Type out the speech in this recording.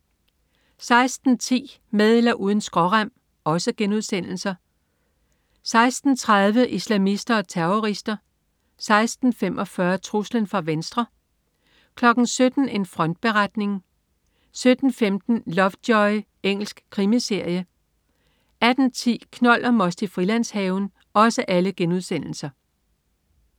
16.10 Med eller uden skrårem* 16.30 Islamister og terrorister* 16.45 Truslen fra venstre* 17.00 En frontberetning* 17.15 Lovejoy. Engelsk krimiserie 18.10 Knold og most i Frilandshaven*